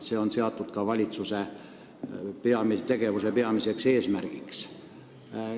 See on seatud ka valitsuse tegevuse peamiseks eesmärgiks.